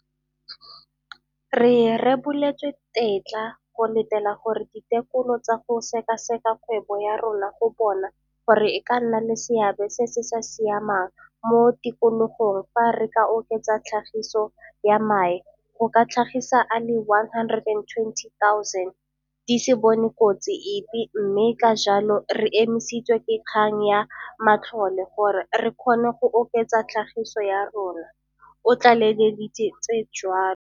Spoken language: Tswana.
Re reboletswe tetla go latela gore ditekolo tsa go sekaseka kgwebo ya rona go bona gore e ka nna le seabe se se sa siamang mo tikologong fa re ka oketsa tlhagiso ya mae go ka tlhagisa a le 120 000 di se bone kotsi epe mme ka jalo re emisitswe ke kgang ya matlole gore re kgone go oketsa tlhagiso ya rona, o tlaleleditse jalo.